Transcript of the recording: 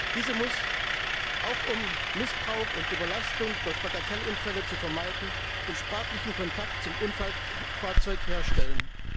Diese muss, auch um Missbrauch und Überlastung durch Bagatellunfälle zu vermeiden, den sprachlichen Kontakt zum Unfallfahrzeug herstellen.